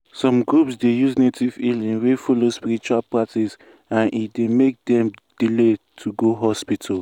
some groups dey use native healing wey follow spiritual practice and e dey make dem delay to go hospital.